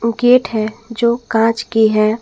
Gate है जो कांच की है।